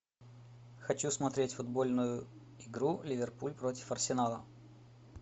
хочу смотреть футбольную игру ливерпуль против арсенала